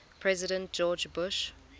president george bush